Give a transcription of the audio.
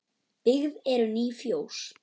Byggð eru ný fjós.